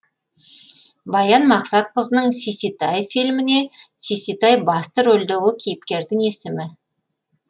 баян мақсатқызының сиситай фильміне сиситай басты рөлдегі кейіпкердің есімі